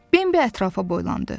Bembi ətrafa boylandı.